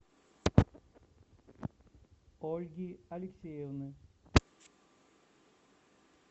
ольги алексеевны